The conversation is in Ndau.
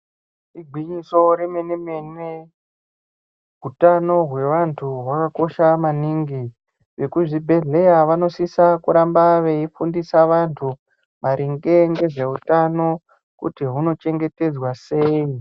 Igwinyiso rememe mene utano hwevantu hwakakosha maningi .Vekuzvibhedhlera vanosisa kuramba veifundisa vantu maringe ngezveutano kuti hwunochengetedzwa sei .